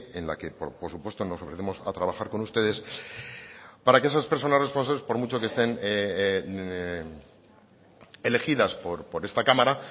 en la que por supuesto nos ofrecemos a trabajar con ustedes para que esas personas responsables por mucho que estén elegidas por esta cámara